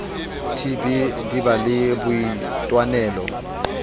tb di ba le boitwanelo